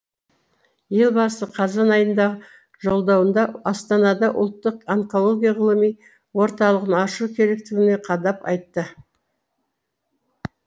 елбасы қазан айындағы жолдауында астанада ұлттық онкология ғылыми орталығын ашу керектігін қадап айтты